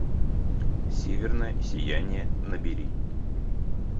северное сияние набери